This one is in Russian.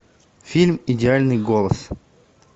фильм идеальный голос